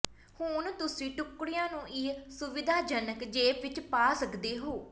ਹੁਣ ਤੁਸੀਂ ਟੁਕੜਿਆਂ ਨੂੰ ਇਸ ਸੁਵਿਧਾਜਨਕ ਜੇਬ ਵਿਚ ਪਾ ਸਕਦੇ ਹੋ